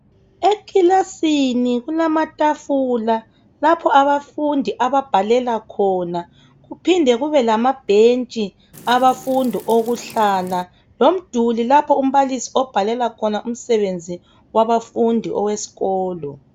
Ekilasini kulama tafula lapho abafundi ababhalela khona, kuphinde kube lama bhentshi abafundi okuhlala, lomduli lapho umbalisi obhalela khona umsebenzi wabafundi owesikolo